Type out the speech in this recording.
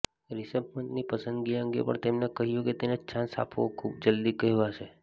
રિષભ પંતની પસંદગી અંગે પણ તેમને કહ્યું કે તેને ચાન્સ આપવો ખુબ જ જલ્દી કહેવાશે